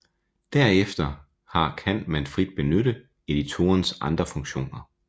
Derefter har kan man frit benytte editorens andre funktioner